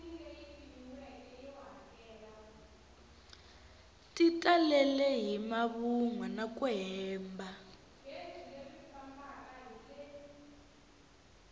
ti talele hi mavunwa naku hemba